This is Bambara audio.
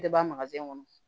E de b'a kɔnɔ